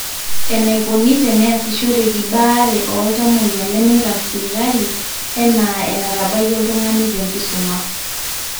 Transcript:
Enaikoni te neasishoreki baare o ltamoyia lemeirag sipitali enaa enetabaikia oltung'ani tenkisuma